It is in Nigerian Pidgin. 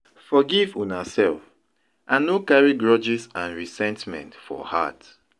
Forgive una self and no carry grudges and resentment for heart.